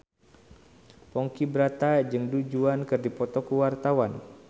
Ponky Brata jeung Du Juan keur dipoto ku wartawan